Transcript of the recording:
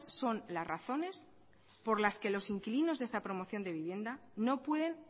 son las razones por las que los inquilinos de esta promoción de vivienda no pueden